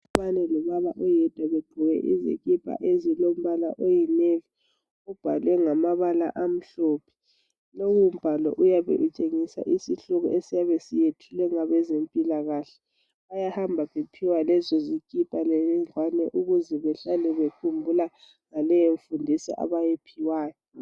lobaba oyedwa begqoke izikipa ezilombala oyi navy kubhalwe ngamabala amhlophe lowu mbhalo uyabe utshengisa isihloko esiyabe siyethulwe ngabezempilkahle bayhamba bephiwa lezo zikipa ukuze behlale bekhumbula ngaleyo mfundiso abayiphiwayo